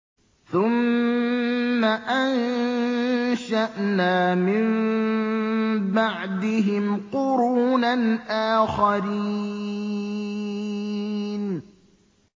ثُمَّ أَنشَأْنَا مِن بَعْدِهِمْ قُرُونًا آخَرِينَ